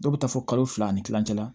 Dɔw bɛ taa fɔ kalo fila ni kilancɛ la